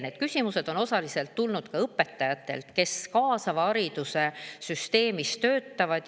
Need küsimused on osaliselt tulnud õpetajatelt, kes kaasava hariduse süsteemis töötavad.